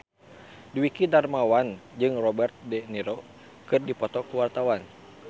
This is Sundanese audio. Dwiki Darmawan jeung Robert de Niro keur dipoto ku wartawan